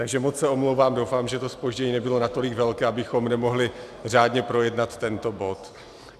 Takže moc se omlouvám, doufám, že to zpoždění nebylo natolik velké, abychom nemohli řádně projednat tento bod.